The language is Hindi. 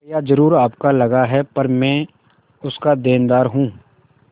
रुपया जरुर आपका लगा पर मैं उसका देनदार हूँ